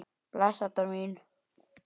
Bless, Edda mín.